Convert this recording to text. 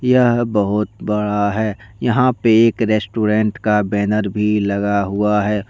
यह बहुत बड़ा है यहां पर एक रेस्टोरेंट का बैनर भी लगा हुआ है।